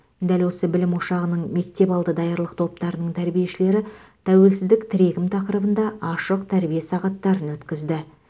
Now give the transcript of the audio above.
дәл осы білім ошағының мектепалды даярлық топтарының тәрбиешілері тәуелсіздік тірегім тақырыбында ашық тәрбие сағаттарын өткізді